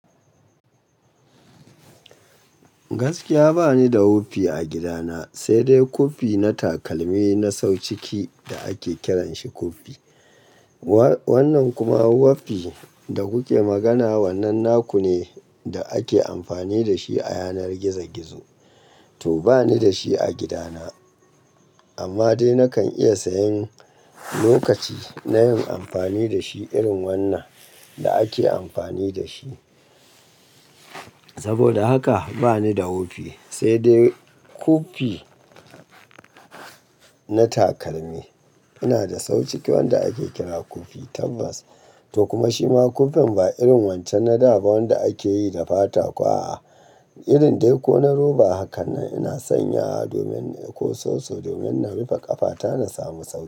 Gaskiya bani da wofi a gidana, sai dai kofi na takalmi na sau ciki da ake kiranshi kofi. Wannan kuma wofi da kuke magana, wannan naku ne da ake amfani da shi a yanar gizo-gizo. To bani da shi a gidana, amma dai nakan iya sayan lokaci na yin amfani da shi irin wannan da ake amfani da shi. Saboda haka bani da wofi, sai dai kofi na takalmi. Ina da sau ciki wanda ake kira kofi tabas. To kuma shima kofin ba irin wancan na daban wanda ake yi da fata kowa a irin dai ko na roba. Hakannan ina sanya domin ko soso domin na rufe ƙafata na samu sauki.